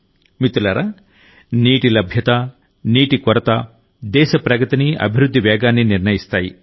మిత్రులారానీటి లభ్యత నీటి కొరతదేశ ప్రగతిని అభివృద్ధి వేగాన్ని నిర్ణయిస్తాయి